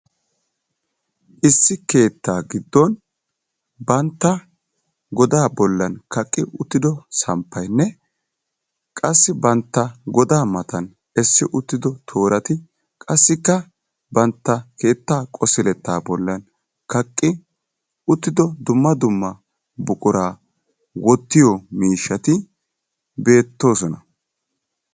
Issi keettaa giddon bantta godaa bollan kaqqi uttido samppayinne qassi bantta godaa matan essi uttido toorati qassikka bantta keettaa qosiletta bollan kaqqi uttido dumma dumma buquraa wottiyo miishshati beettoosona.